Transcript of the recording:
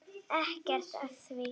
Ekkert að því!